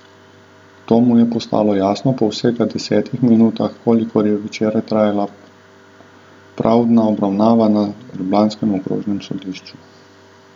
To mu je postalo jasno po vsega desetih minutah, kolikor je včeraj trajala pravdna obravnava na ljubljanskem okrožnem sodišču.